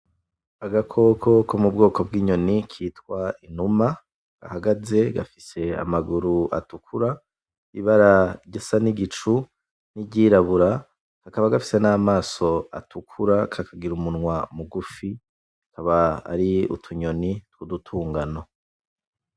Agakoko ko mu bwoko bw'inyoni kitwa inuma gahagaze. Gafise amaguru atukura, ibara risa n'igicu n'iryirabura, kakaba gafise namaso atukura kakagira umunwa mugufi. Tukaba ari utunyoni tw'udutungano.